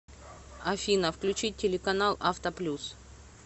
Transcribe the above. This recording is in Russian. афина включить телеканал авто плюс